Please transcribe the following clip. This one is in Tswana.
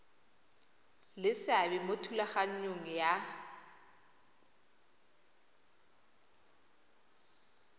le seabe mo thulaganyong ya